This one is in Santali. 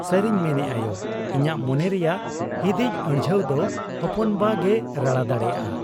ᱥᱟᱹᱨᱤᱧ ᱢᱮᱱᱮᱜ ᱟ ᱭᱚ ! ᱤᱧᱟᱹᱜ ᱢᱚᱱᱮ ᱨᱮᱭᱟᱜ ᱦᱤᱫᱤᱡ ᱟᱹᱲᱡᱷᱟᱹᱣ ᱫᱚ ᱦᱚᱯᱚᱱ ᱵᱟ ᱜᱮᱭ ᱨᱟᱲᱟ ᱫᱟᱲᱮᱭᱟᱜ ᱟ ᱾